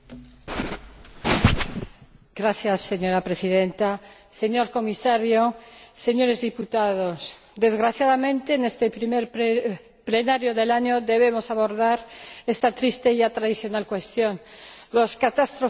Señora Presidenta, señor Comisario, señores diputados, desgraciadamente, en esta primera sesión plenaria de la legislatura debemos abordar esta triste y ya tradicional cuestión las catástrofes naturales y, en especial, los incendios.